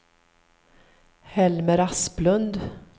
Helmer Asplund